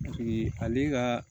ale ka